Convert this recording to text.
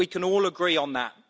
we can all agree on that.